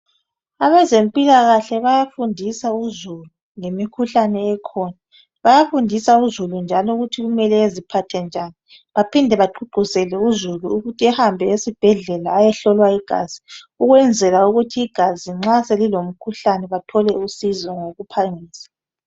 Abezempilakahle bayafundisa uzulu ngemikhuhlane ekhina. Bayafundisa uzulu njalo ukuthi umuntu kumele eziphathe njani bephinde begqugquzele uzulu ukuthi ahambe esibhedlela ayehlolwa igazi ukwenzela ukuthi nxa selilemikhuhlane bathole usizo ngokuphangisa.